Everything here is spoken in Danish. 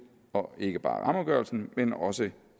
ikke bare rammeafgørelsen men også